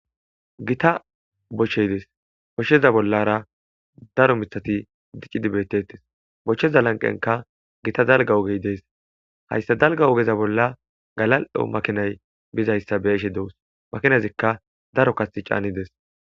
Gita bochcheydes koshsheza bollara daro mitati diccidibetetes bochcheza lanqenka gita dalga ogey dees hayssa dalga ogeza bolla galal' makinay bizayssa beeshe dewus makinazikka daro kati caanides.